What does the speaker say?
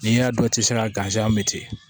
N'i y'a dɔn i tɛ se ka mɛ ten